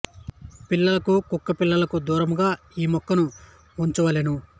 పిల్లలకు కు క్కలు పిల్లులు దూరముగా ఈ మొక్కను ఉంచవలెను